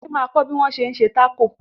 Títí ma kọ́ bí wọ́n ṣé ń ṣe Tákò